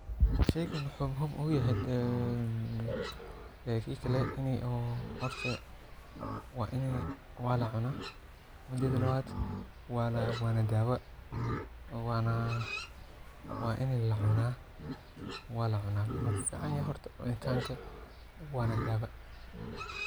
Shaygani waxa muhim u yahay wala cuna mideda labad wana dawa wa in lacuuna walacuna wuxu kufican yahay horta cunitanka wana dawa.